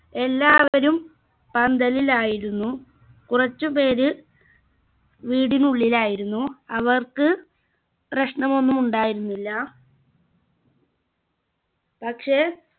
എല്ലാവരും പന്തലിലായിരുന്നു കുറച്ചു പേര് വീടിനുള്ളിലായിരുന്നു അവർക്ക് പ്രശ്നമൊന്നുമുണ്ടായിരുന്നില്ല പക്ഷെ